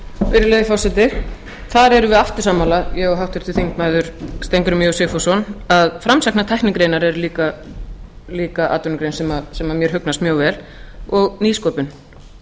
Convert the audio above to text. virðulegi forseti þar erum við aftur sammála ég og háttvirtur þingmaður steingrímur j sigfússon að framsæknar tæknigreinar er líka atvinnugrein sem mér hugnast mjög vel og nýsköpun